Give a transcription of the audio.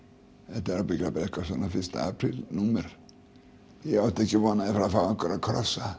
þetta er ábyggilega fyrsta apríl númer ég átti ekki von að fá einhverja krossa